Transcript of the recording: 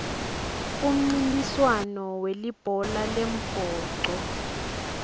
umncintiswand welibhola lembhoco